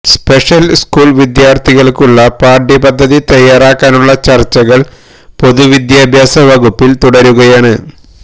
special school വിദ്യാർത്ഥികൾക്കുള്ള പാഠ്യപദ്ധതി തയ്യാറാക്കാനുള്ള ചർച്ചകൾ പൊതുവിദ്യാഭ്യാസ വകുപ്പിൽ തുടരുകയാണ്